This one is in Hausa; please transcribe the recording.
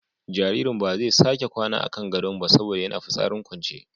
Jaririn ba zai sake kwana a kan gadon ba saboda yana fitsarin kwance.